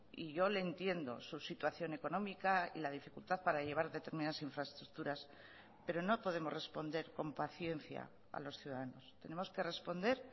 y yo le entiendo su situación económica y la dificultad para llevar determinadas infraestructuras pero no podemos responder con paciencia a los ciudadanos tenemos que responder